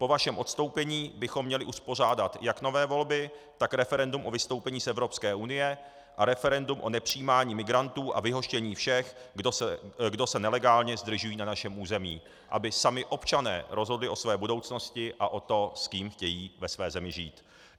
Po vašem odstoupení bychom měli uspořádat jak nové volby, tak referendum o vystoupení z Evropské unie a referendum o nepřijímání migrantů a vyhoštění všech, kdo se nelegálně zdržují na našem území, aby sami občané rozhodli o své budoucnosti a o tom, s kým chtějí ve své zemi žít.